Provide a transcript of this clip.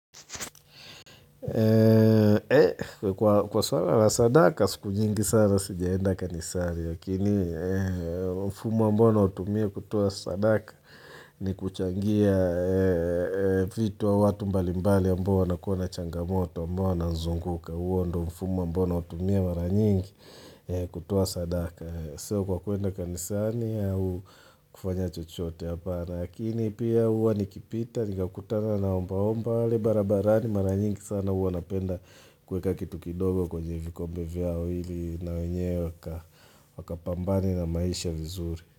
Kwa swala la sadaka siku nyingi sana sijaenda kanisani Lakini mfumo ambao nautumia kutoa sadaka ni kuchangia vitu au watu mbalimbali ambao wanakuwa na changamoto ambao wana zunguka huo ndo mfumo ambao naotumia mara nyingi kutoa sadaka Sio kwa kuenda kanisani au kufanya chochote hapan Lakini pia huwa nikipita, nikakutana na omba omba pale barabarani maranyingi sana huwanapenda kuweka kitu kidogo kwenye vikombe vyao ili na wenyewe waka pambana na maisha vizuri.